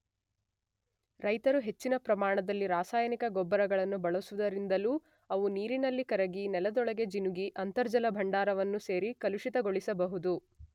ರೈತರು ಹೆಚ್ಚಿನ ಪ್ರಮಾಣದಲ್ಲಿ ರಾಸಾಯನಿಕ ಗೊಬ್ಬರಗಳನ್ನು ಬಳಸುವುದರಿಂದಲೂ ಅವು ನೀರಿನಲ್ಲಿ ಕರಗಿ ನೆಲದೊಳಗೆ ಜಿನುಗಿ ಅಂತರ್ಜಲ ಭಂಡಾರವನ್ನು ಸೇರಿ ಕಲುಷಿತಗೊಳಿಸಬಹುದು.